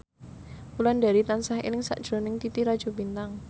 Wulandari tansah eling sakjroning Titi Rajo Bintang